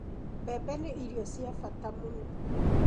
Mbembe nĩ irio cia bata mũno.